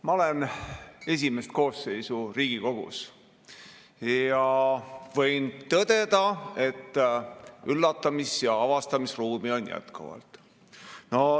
Ma olen esimest koosseisu Riigikogus ja võin tõdeda, et üllatumis- ja avastamisruumi on jätkuvalt.